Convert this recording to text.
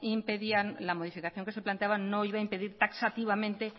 impedía la modificación que se planteaba no iba a impedir taxativamente